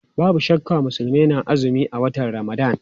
Babu shakka Musulmai na azumi a watan Ramadan.